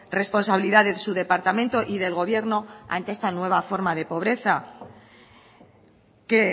responsabilidad de su departamento y del gobierno ante esta nueva forma de pobreza que